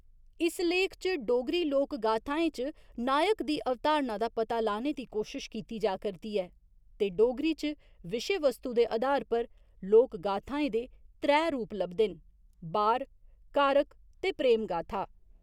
इस लेख च डोगरी लोक गाथाएं च नायक दी अवधारणा दा पता लाने दी कोशश कीती जा करदी ऐ ते डोगरी च विशेवस्तु दे अधार पर लोकगाथाएं दे त्रै रूप लभदे न, बार, कारक ते प्रेम गाथा।